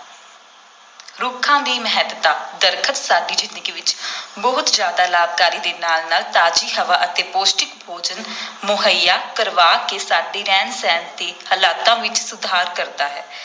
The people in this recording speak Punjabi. ਰੁੱਖਾਂ ਦੀ ਮਹੱਤਤਾ ਦਰੱਖਤ, ਸਾਡੀ ਜ਼ਿੰਦਗੀ ਵਿਚ ਬਹੁਤ ਜ਼ਿਆਦਾ ਲਾਭਕਾਰੀ ਦੇ ਨਾਲ ਨਾਲ ਤਾਜ਼ੀ ਹਵਾ ਅਤੇ ਪੌਸ਼ਟਿਕ ਭੋਜਨ ਮੁਹੱਈਆ ਕਰਵਾ ਕੇ ਸਾਡੇ ਰਹਿਣ-ਸਹਿਣ ਦੇ ਹਾਲਾਤਾਂ ਵਿਚ ਸੁਧਾਰ ਕਰਦਾ ਹੈ।